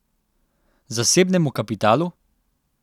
Zasebnemu kapitalu?